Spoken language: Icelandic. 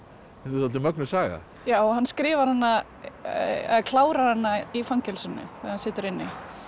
dálítið mögnuð saga já hann skrifar hana eða klárar hana í fangelsinu þegar hann situr inni